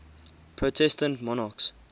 protestant monarchs